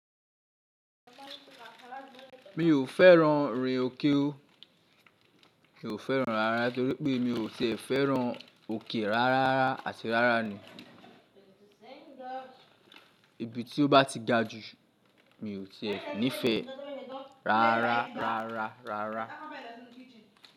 Mi ò féràn rin òkè o. Mi ò féràn rárá torí pé mi ò tẹ féràn òkè rárá áti rárá ni. Ibi tí ó bá ti ga ju mi ò tẹ níìfẹ̀ẹ́ rárá rárá rárá.